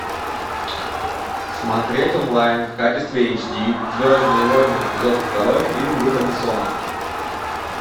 смотреть онлайн в качестве эйч ди звездные войны эпизод второй фильм люка бессона